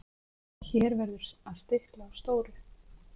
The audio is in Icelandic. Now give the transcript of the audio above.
Hér verður að stikla á stóru.